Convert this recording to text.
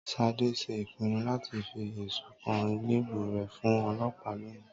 sádé ṣe ìpìnnu láti fí esún kan elèbú re fún ọ̀lopáá lóni